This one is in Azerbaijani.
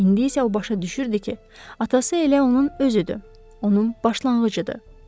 İndi isə o başa düşürdü ki, atası elə onun özüdür, onun başlanğıcıdır.